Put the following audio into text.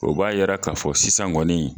O b'a yira ka fɔ sisan kɔni